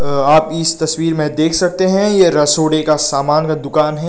आप इस तस्वीर में देख सकते हैं ये रसोड़े के समान का दुकान है।